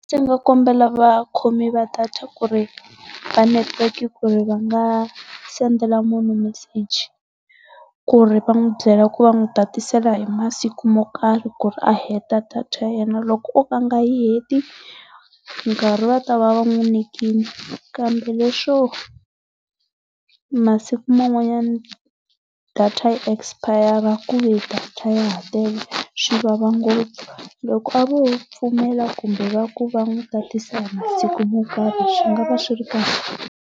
Ndzi nga kombela vakhoi va data ku ri va netiweke ku ri va nga sendela munhu meseji ku ri va n'wi byela ku va n'wi tatisela hi masiku mo karhi ku ri a heta data ya yena loko oka a nga yi heti, nkarhi va ta va va n'wi nyikile kambe leswo masiku man'wanyana data yi espayara ku ve data ya ha tele swi vava ngopfu. Loko a vo pfumela kumbe va ku va n'wi tatisela hi masiku mo karhi swi nga va swi ri kahle.